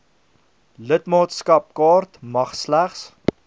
lidmaatskapkaart mag slegs